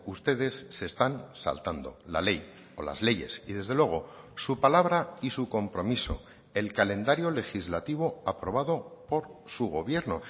ustedes se están saltando la ley o las leyes y desde luego su palabra y su compromiso el calendario legislativo aprobado por su gobierno